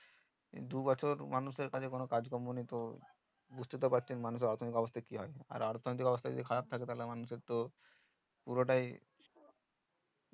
দু বছর মানুষ এর কাছে কোনো কাজ কম্মো নেই তো বুঝতেই তো পারছেন মানুষ এর অর্থনিক অবস্থা কি হয় আর অর্থনিক অবস্থা যদি খারাপ থাকে তাহলে তো পুরোটাই